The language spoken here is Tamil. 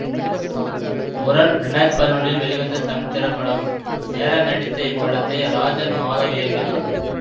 முரண் இரண்டு ஆயிரத்தி பதினொன்றில் வெளிவந்த தமிழ் திரைப்படம் சேரன் நடித்த இப்படத்தை ராஜன் மாதவ் இயக்கினார்